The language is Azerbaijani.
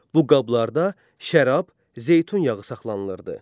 Bu qablarda şərab, zeytun yağı saxlanılırdı.